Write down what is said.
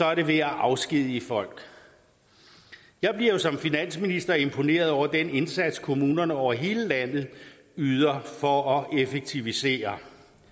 er det ved at afskedige folk jeg bliver jo som finansminister imponeret over den indsats kommunerne over hele landet yder for at effektivisere